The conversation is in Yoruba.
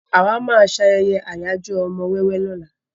Àwa máa ṣayẹyẹ ayajo ọmọ wẹ́wẹ́ lóla.